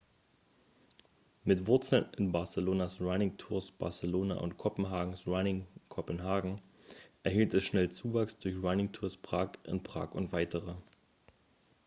mit wurzeln in barcelonas running tours barcelona und kopenhagens running copenhagen erhielt es schnell zuwachs durch running tours prague in prag und weitere